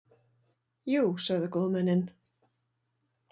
Jú, sögðu góðmennin.